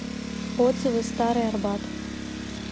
отзывы старый арбат